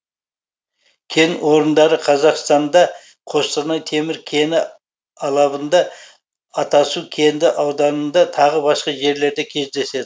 кен орындары қазақстанда қостанай темір кені алабында атасу кенді ауданында тағы басқа жерлерде кездеседі